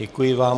Děkuji vám.